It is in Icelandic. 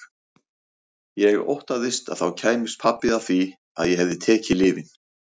Ég óttaðist að þá kæmist pabbi að því að ég hefði tekið lyfin.